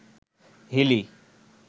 Hili